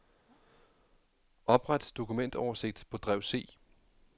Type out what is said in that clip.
Opret dokumentoversigt på drev C.